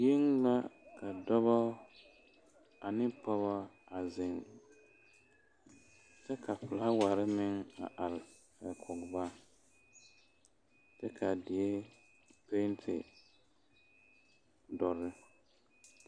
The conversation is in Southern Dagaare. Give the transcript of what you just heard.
Dieɛ la ka dɔɔbo ane pɔge a zeŋ kyɛ ka filaaware meŋ a are kɔŋ ba kyɛ kaa die penti doɔre.